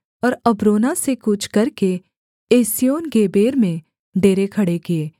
और अब्रोना से कूच करके एस्योनगेबेर में डेरे खड़े किए